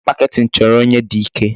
Marketing chọrọ onye dị ike.